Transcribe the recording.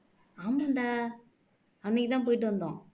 ஆமான்டா அன்னைக்கு தான் போயிட்டு வந்தோம்